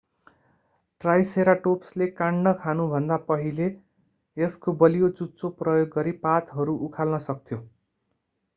ट्राइसेराटोप्सले काण्ड खानुभन्दा पहिले यसको बलियो चुच्चो प्रयोग गरी पातहरू उखाल्न सक्थ्यो